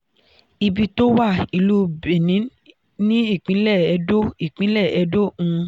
ibi tó wà: ìlú benin ní ìpínlẹ̀ ẹdó ìpínlẹ̀ ẹdó um